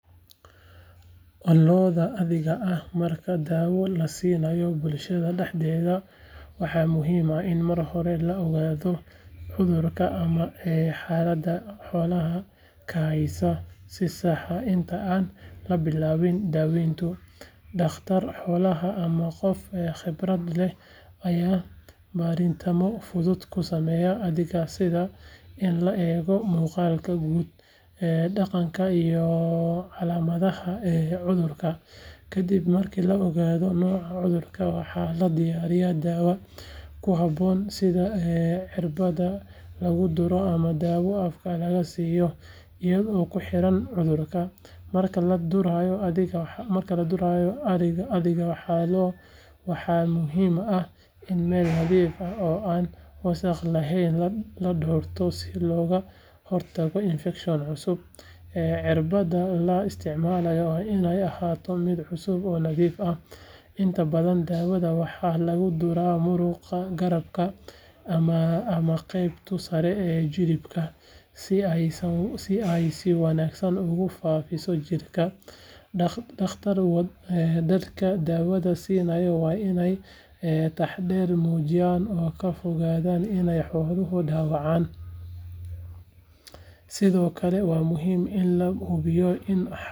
Lo’da adhiga ah marka dawo la siiyo bulshada dhexdeeda waxaa muhiim ah in marka hore la ogaado cudurka ama xaaladda xoolaha ka haysa si sax ah inta aan la bilaabin daaweynta. Dhaqtar xoolaha ama qof khibrad leh ayaa baaritaanno fudud ku sameeya adhiga sida in la eego muuqaalka guud, dhaqanka, iyo calaamadaha cudurka. Kadib marka la ogaado nooca cudurka, waxaa la diyaariyaa daawada ku habboon sida cirbadda lagu duro ama dawo afka laga siiyo iyadoo ku xiran cudurka. Marka la durayo adhiga waxaa muhiim ah in meel nadiif ah oo aan wasakh lahayn la doorto si looga hortago infekshan cusub, cirbadda la isticmaalo waa inay ahaataa mid cusub oo nadiif ah. Inta badan daawada waxaa lagu duraa muruqa garabka ama qeybta sare ee jilibka si ay si wanaagsan ugu faafiso jidhka. Dadka dawada siinaya waa inay taxaddar muujiyaan oo ka fogaadaan inay xoolaha dhaawacaan, sidoo kale waa muhiim in la hubiyo in xooluhu ay yihiin kuwo xasilloon marka la siinayo dawada. Kadib daawada la siiyo, waxaa wanaagsan in xoolaha.